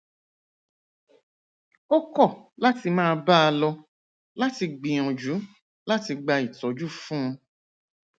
ó kọ láti máa bá a lọ láti gbìyànjú láti gba ìtójú fún un